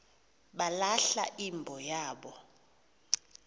balahla imbo yabo